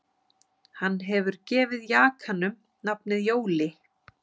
Hann hefur gefið jakanum nafnið Jóli